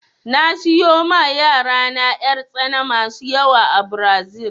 Na siyo ma yarana 'yartsana masu yawa a Brazil